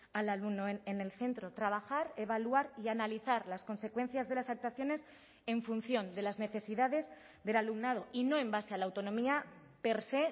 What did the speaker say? al alumno en el centro trabajar evaluar y analizar las consecuencias de las actuaciones en función de las necesidades del alumnado y no en base a la autonomía per sé